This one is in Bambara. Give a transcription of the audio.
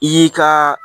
I y'i ka